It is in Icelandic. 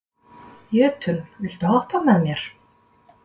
Jötunn, viltu hoppa með mér?